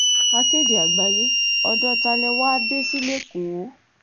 akéde àgbáyé ọ̀dọ́ ta lẹ wàá dé sí lẹ́kọ̀ọ́